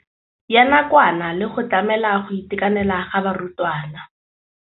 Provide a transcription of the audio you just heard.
ya nakwana le go tlamela go itekanela ga barutwana.